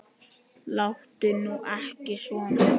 Láttu nú ekki svona